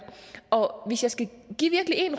og hvis jeg skal